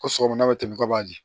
Ko sɔgɔmada bɛ tɛmɛn ka b'a di